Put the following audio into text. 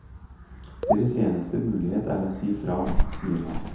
Deres eneste mulighet er å si fra, sier han.